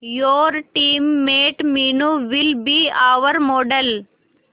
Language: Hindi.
your teammate Meenu will be our model